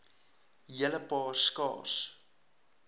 hele paar skaars